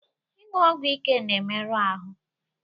Ịṅụ ọgwụ ike na-emerụ ahụ